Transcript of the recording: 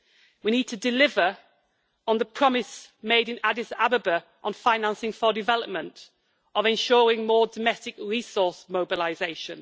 We need to deliver on the promise made in Addis Ababa on financing for development and on ensuring more domestic resource mobilisation.